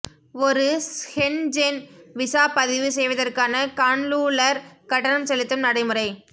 ஒரு Schengen visa பதிவு செய்வதற்கான கான்லூலர் கட்டணம் செலுத்தும் நடைமுறை